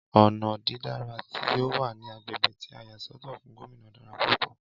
Ọnà dídára tí ọ wà ní agbègbè tí a yà sọ́tọ̀ fún Gómìnà dára púpọ̀